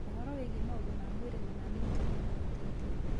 Ũhũro wĩgie maũndũ ma mwĩrĩ na ma miikarĩre no mateithie.